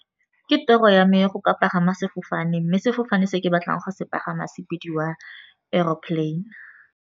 Ke toro ya mme go ka pagama sefofane, mme sefofane se ke batlang go se pagama se bediwa aeroplane.